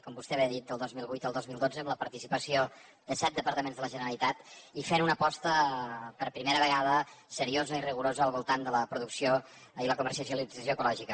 com vostè bé ha dit del dos mil vuit al dos mil dotze amb la participació de set departaments de la generalitat i es va fer una aposta per primera vegada seriosa i rigorosa al voltant de la producció i la comercialització ecològica